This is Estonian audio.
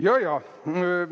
Jajaa!